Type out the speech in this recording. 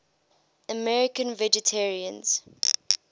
american vegetarians